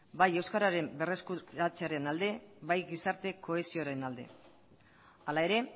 bai euskararen berreskuratzearen alde bai gizarte kohesioaren alde hala ere